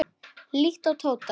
Líttu á Tóta.